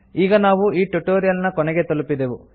ಈಗ ನಾವು ಈ ಟ್ಯುಟೊರಿಯಲ್ ನ ಕೊನೆಗೆ ತಲುಪಿದೆವು